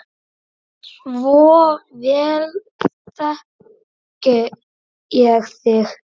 Svo vel þekki ég þig.